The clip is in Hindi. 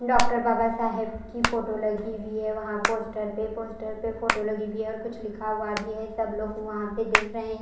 डॉक्टर बाबा शाहब की फोटो लगी हुई है वहा पोस्टर पर पोस्टर फोटो लगी हुई है और कुछ लिखा हुआ भी है सब लोग वहां पर देख रहे है।